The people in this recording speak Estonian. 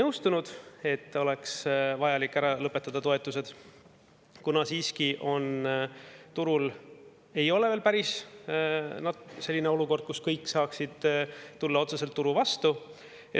Sellega, et oleks vaja toetused ära lõpetada, ministeerium täies mahus ei nõustunud, kuna turul ei ole siiski veel päris selline olukord, kus kõik saaksid otseselt turu vastu.